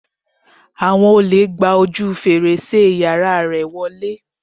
Àwọn olè gba ojú fèrèsé yàrá rẹ̀ wọlé.